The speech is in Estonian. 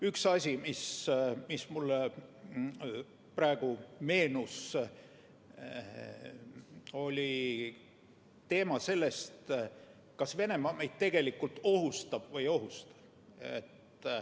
Üks asi, mis mulle praegu meenus, oli see teema, kas Venemaa meid tegelikult ohustab või ei ohusta.